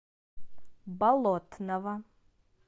болотного